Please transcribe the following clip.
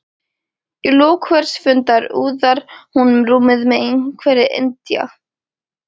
Í lok hvers fundar úðar hún rúmið með einhverri indía